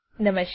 નમસ્કાર